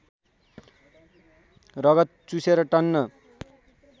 रगत चुसेर टन्न